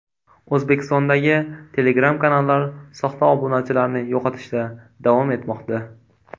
O‘zbekistondagi Telegram kanallar soxta obunachilarini yo‘qotishda davom etmoqda.